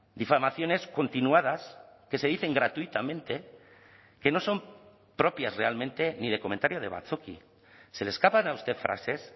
difamaciones continuadas que se dicen gratuitamente que no son propias realmente ni de comentario de batzoki se le escapan a usted frases